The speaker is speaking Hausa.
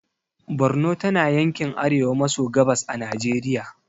Borno tana yankin arewa maso gabas a najeriya